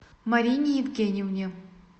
марине евгеньевне